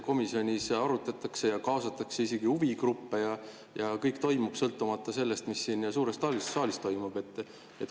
Komisjonis arutatakse, kaasatakse isegi huvigruppe ja kõik toimub, sõltumata sellest, mis siin suures saalis toimub.